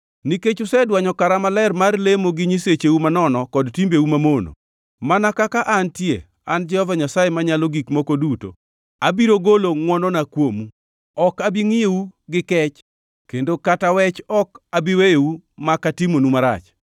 Nikech usedwanyo kara maler mar lemo gi nyisecheu manono kod timbeu mamono, mana kaka antie, an Jehova Nyasaye Manyalo Gik Moko Duto ni abiro golo ngʼwonona kuomu. Ok abi ngʼiyou gi kech, kendo kata wech ok abi weyou mak atimonu marach.